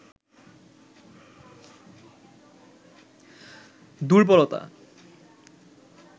দুর্বলতা